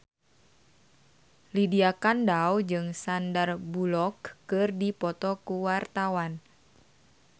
Lydia Kandou jeung Sandar Bullock keur dipoto ku wartawan